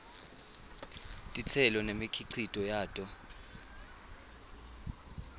titselo nemikhicito yato